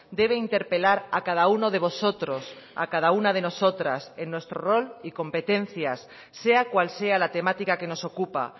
debe interpelar a cada uno de vosotros a cada una de nosotras en nuestro rol y competencias sea cual sea la temática que nos ocupa